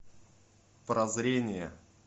прозрение